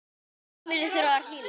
Heimili þurfa að vera hlýleg.